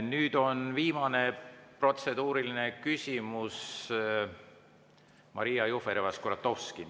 Nüüd on viimane protseduuriline küsimus, Maria Jufereva-Skuratovski.